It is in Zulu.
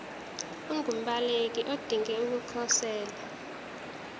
ungumbaleki odinge ukukhosela